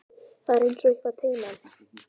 Það er einsog eitthvað teymi hann.